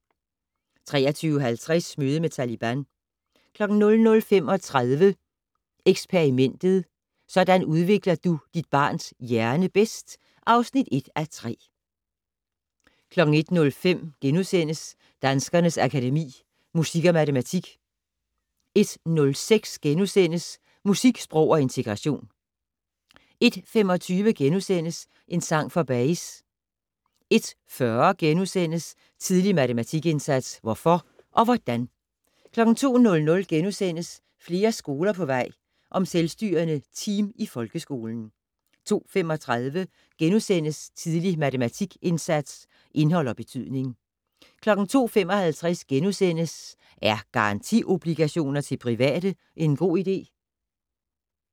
23:50: Møde med Taliban 00:35: Eksperimentet: Sådan udvikler du dit barns hjerne bedst (1:3) 01:05: Danskernes Akademi: Musik & Matematik * 01:06: Musik, sprog og integration * 01:25: En sang for Bayes * 01:40: Tidlig matematikindsats - hvorfor og hvordan? * 02:00: Flere skoler på vej - om selvstyrende team i folkeskolen * 02:35: Tidlig matematikindsats - indhold og betydning * 02:55: Er garantiobligationer til private en god idé? *